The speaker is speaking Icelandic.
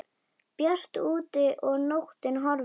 Bjart úti og nóttin horfin.